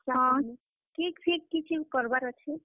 ହଁ ହଁ, cake fake କିଛି କରବାର୍ ଅଛେ?